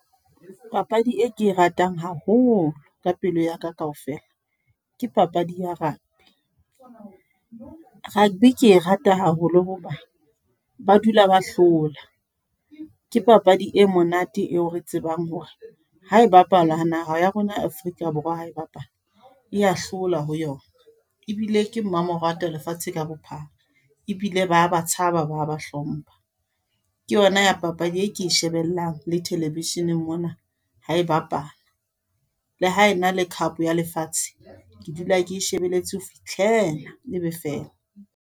Papadi e ke e ratang haholo, ka pelo ya ka kaofela. Ke papadi ya rugby. Rugby ke rata haholo hoba, ba dula ba hlola. Ke papadi e monate eo re tsebang hore, ha e bapala naha ya rona Afrika Borwa ha e bapala, ya hlola ho yona. Ebile ke mmamoratwa lefatshe ka bophara. Ebile ba ba tshaba ba ba hlompha. Ke yona ya papadi e ke shebellang le television-eng mona, ha e bapala. Le hae na le cup ya lefatshe, ke dula ke shebelletse ho fihlela ebe fela.